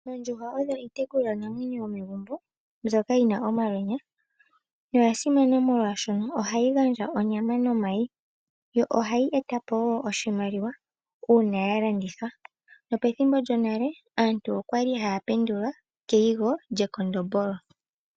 Ondjuhwa odho iitekulwa namwenyo yomegumbo, mbyoka yina omalwenya. Oyasimana molwaashoka oha yi gandja onyama nomayi ,yo oha yi etapo woo oshimaliwa uuna ya landithwa. Pethimbo lyonale aantu okwali ha ya pendulwa keyigo lyekondombolo.